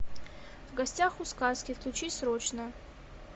в гостях у сказки включи срочно